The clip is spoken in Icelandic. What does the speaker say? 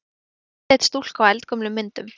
Andlit stúlku á eldgömlum myndum.